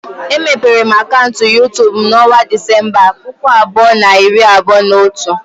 Emepere m akaụntụ YuTubu m na onwa Disemba, puku abụọ na iri abụọ na otu.